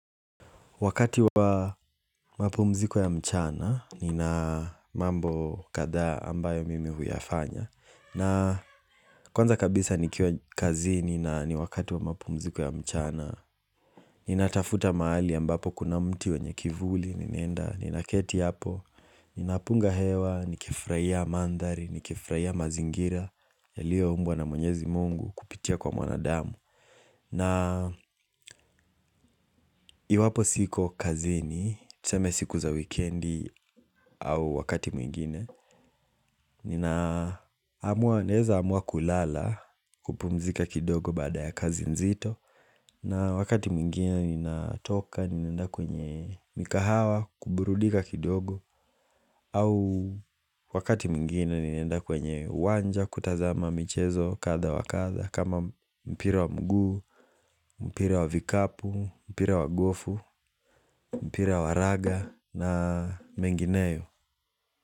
Wakati wa mapumziko ya mchana, nina mambo kadha ambayo mimi huyafanya. Na kwanza kabisa nikio kazini na ni wakati wa mapumziko ya mchana, ninatafuta mahali ambapo kuna mti wenye kivuli, ninaenda, ninaketi hapo, ninapunga hewa, nikifurahia mandari, nikifurahia mazingira, yalio umbwa na mwenyezi Mungu kupitia kwa mwanadamu. Na iwapo siko kazini, tuseme siku za weekendi au wakati mwingine Nina amua neza amua kulala kupumzika kidogo baada ya kazi nzito na wakati mwingine ninatoka ninenda kwenye mikahawa kuburudika kidogo au wakati mwingine ninaenda kwenye uwanja kutazama michezo kadha wa kadha kama mpira wa mguu, mpira wa vikapu, mpira wa gofu, mpira wa raga na mengineyo.